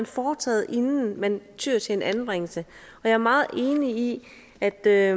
foretaget inden man tyede til en anbringelse jeg er meget enig i at der